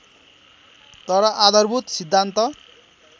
तर आधारभूत सिद्धान्त